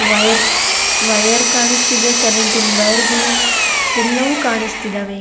Wire wire ಕಾಣಿಸ್ತಿದೆ ಕರೆಂಟಿನ್ ವಯರ್ಗಳು ಎಲ್ಲವು ಕಾಣಿಸ್ತಿದಾವೆ.